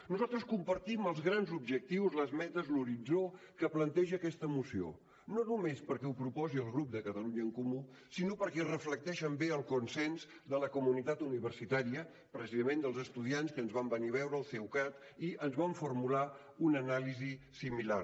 nosaltres compartim els grans objectius les metes l’horitzó que planteja aquesta moció no només perquè ho proposi el grup de catalunya en comú sinó perquè reflecteixen bé el consens de la comunitat universitària precisament dels estudiants que ens van venir a veure el ceucat i ens van formular una anàlisi similar